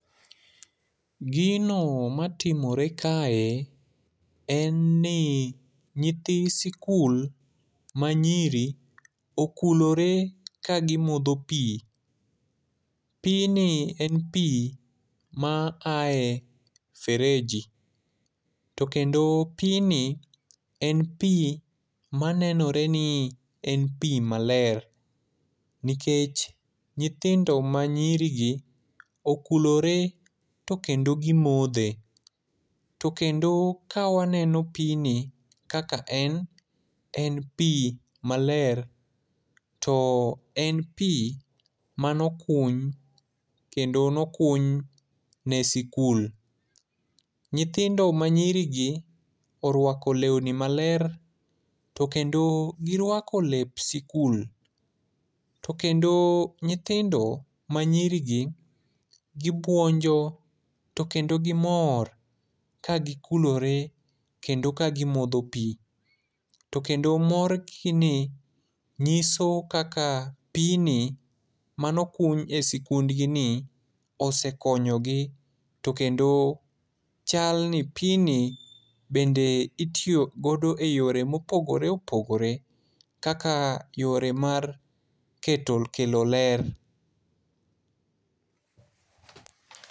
Gino matimore kae, en ni nyithi sikul manyiri okulore kagimodho pi. Pi ni en pi ma ae fereji. To kendo pi ni, en pi manenore ni en pi maler. Nikech nyithindo manyiri gi, okulore to kendo gimodhe. To kendo ka waneno pi ni kaka en, en pi maler. To en pi mane okuny ,kendo ne okuny ne sikul. Nyithindo ma nyiri gi orwako lewni maler, to kendo girwako lep sikul. To kendo nyithindo manyiri gi, gibuonjo to kendo gimor ka gikulore kendo ka gimodho pi. To kendo morgi ni nyiso kaka pi ni mane okuny e sikund gi ni osekonyo gi. To kendo chal ni pi ni bende itiyo godo ye yore mopogore opogore. Kaka yore mar keto, kelo ler.